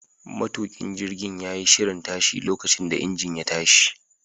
Matukin jirgin ya yi shirin tashi lokacin da injin ya tashi.